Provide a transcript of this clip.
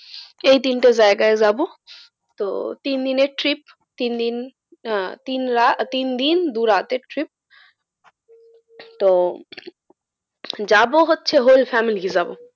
এই তিনটে জায়গায় যাবো। তো তিনদিনের trip তিন দিন আহ তিন দিন দুই রাতের trip তো যাবো হচ্ছে whole family যাবো,